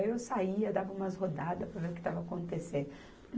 Aí eu saía, dava umas rodadas para ver o que estava acontecendo.